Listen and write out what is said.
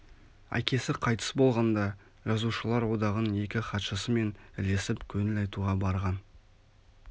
әкесі қайтыс болғанда жазушылар одағының екк хатшысымен ілесіп көңіл айтуға барған